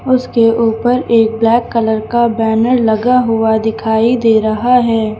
उसके ऊपर एक ब्लैक कलर का बैनर लगा हुआ दिखाई दे रहा है।